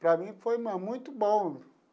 Para mim foi ma muito bom.